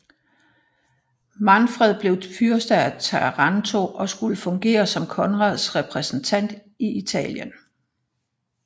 Manfred blev fyrste af Taranto og skulle fungere som Konrads repræsentant i Italien